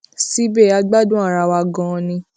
síbẹ a gbádùn ara wa ganan ni